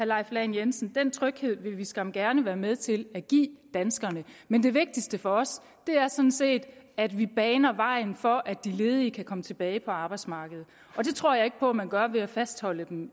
leif lahn jensen den tryghed vil vi skam gerne være med til at give danskerne men det vigtigste for os er sådan set at vi baner vejen for at de ledige kan komme tilbage på arbejdsmarkedet og det tror jeg ikke på man gør ved at fastholde dem